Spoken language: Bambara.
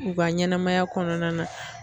U ka ɲɛnɛmaya kɔnɔna na.